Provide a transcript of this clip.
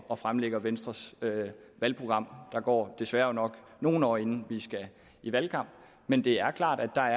og fremlægger venstres valgprogram der går desværre nok nogle år inden vi skal i valgkamp men det er klart at